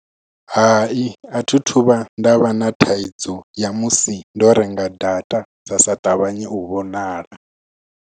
Hai a thi thu vhuya nda vha na thaidzo ya musi ndo renga data dza sa ṱavhanye u vhonala.